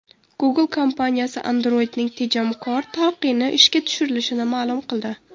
Google kompaniyasi Android’ning tejamkor talqini ishga tushirilishini ma’lum qildi.